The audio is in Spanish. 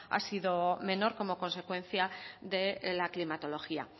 ha sido menor como consecuencia de la climatología